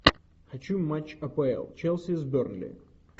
хочу матч апл челси с бернли